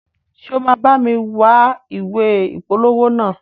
Ṣe o ma bámi wa ìwé ìpolówó naa?